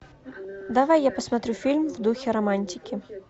давай я посмотрю фильм в духе романтики